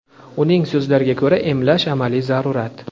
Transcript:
Uning so‘zlariga ko‘ra, emlash — amaliy zarurat.